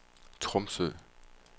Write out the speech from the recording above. Tromsø